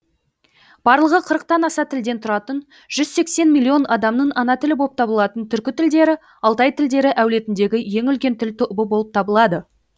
барлығы қырықтан аса тілден тұратын жүз сексен миллион адамның ана тілі боп табылатын түркі тілдері алтай тілдері әулетіндегі ең үлкен тіл тобы болып табылады